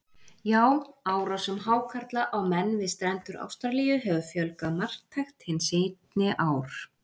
Já, árásum hákarla á menn við strendur Ástralíu hefur fjölgað marktækt hin seinni ár.